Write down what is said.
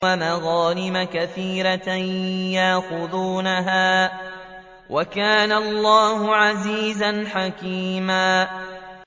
وَمَغَانِمَ كَثِيرَةً يَأْخُذُونَهَا ۗ وَكَانَ اللَّهُ عَزِيزًا حَكِيمًا